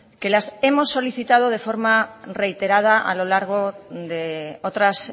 que las hemos solicitado de forma reiterada a lo largo de otras